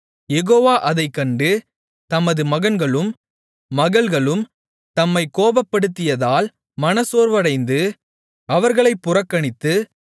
யெகோவா அதைக்கண்டு தமது மகன்களும் மகள்களும் தம்மைக் கோபப்படுத்தியதால் மனச்சோர்வடைந்து அவர்களைப் புறக்கணித்து